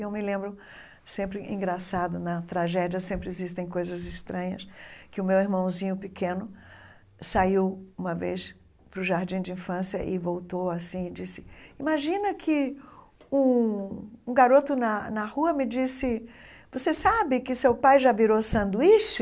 E eu me lembro, sempre engraçado, na tragédia sempre existem coisas estranhas, que o meu irmãozinho pequeno saiu uma vez para o jardim de infância e voltou assim e disse, imagina que um um garoto na na rua me disse, você sabe que seu pai já virou sanduíche?